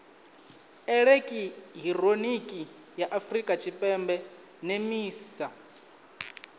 elekihironiki ya afurika tshipembe nemisa